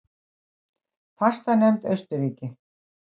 Fastanefnd Austurríki